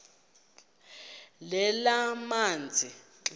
lezamanzi